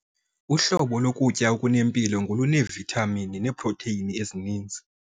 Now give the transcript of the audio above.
Uhlobo lokutya okunempilo ngoluneevithamini neeprotheyini ezininzi.